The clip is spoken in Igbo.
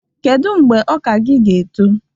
Kedu mgbe ọka gi ga-eto?